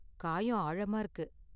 காயம் ஆழமா இருக்கு.